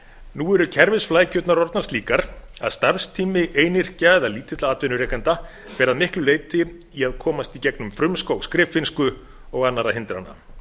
nú eru kerfisflækjurnar orðnar slíkar að starfstími einyrkja eða lítilla atvinnurekenda fer að miklu leyti í að komast í gegnum frumskóg skriffinnsku og annarra hindrana